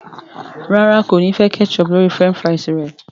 ràrá kò ní fè ketchup lórí french fries re.